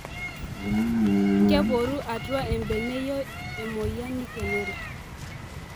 Keporu otua embeneyio emoyian nikenori